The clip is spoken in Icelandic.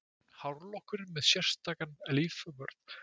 Hárlokkurinn með sérstakan lífvörð